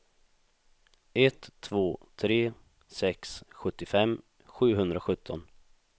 ett två tre sex sjuttiofem sjuhundrasjutton